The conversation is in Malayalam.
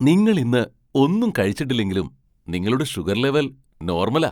നിങ്ങൾ ഇന്ന് ഒന്നും കഴിച്ചിട്ടില്ലെങ്കിലും നിങ്ങളുടെ ഷുഗർ ലെവൽ നോർമലാ !